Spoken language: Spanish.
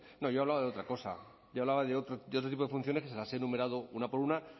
no yo hablaba de otra cosa yo hablaba de otro tipo de funciones que se las he enumerado una por una